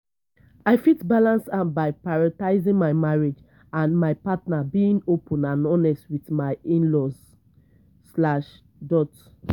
i fit balance am by prioritizing my marriage and and my partner being open and honest with my in-laws slash dot